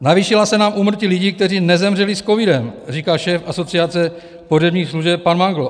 Navýšila se nám úmrtí lidí, kteří nezemřeli s covidem, říká šéf Asociace pohřebních služeb pan Mangl.